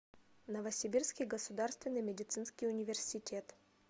новосибирский государственный медицинский университет